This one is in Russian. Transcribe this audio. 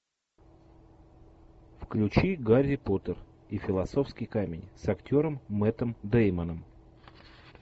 включи гарри поттер и философский камень с актером мэттом деймоном